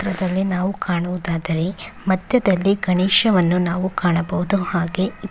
ಈ ಚಿತ್ರದಲ್ಲಿ ನಾವು ಕಾಣೋದಾದ್ರೆ ಮಧ್ಯದಲ್ಲಿ ಗಣೇಶವನ್ನು ನಾವು ಕಾಣಬಹುದು ಹಾಗೆ--